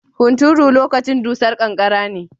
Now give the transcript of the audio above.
Hunturu lokacin dusar kankara ne.